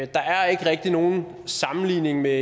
der er ikke rigtig nogen sammenligning med